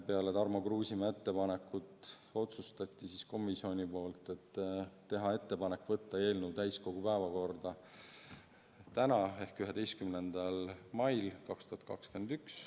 Peale Tarmo Kruusimäe ettepaneku ärakuulamist otsustas komisjon teha ettepaneku võtta eelnõu täiskogu päevakorda tänaseks ehk 11. maiks.